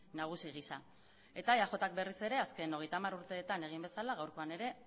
nagusi gisa eta eajk berriz ere azken hogeita hamar urteetan egin bezala gaurkoan ere